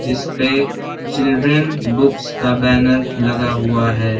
जिसपे एक children books का बैनर लगा हुआ है।